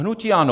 Hnutí ANO.